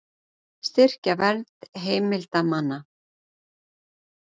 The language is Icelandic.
Styrkja vernd heimildarmanna